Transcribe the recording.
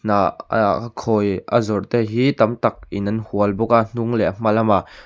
khawi a zawrh te hi tam tak in an hual bawk a hnung leh a hma lamah.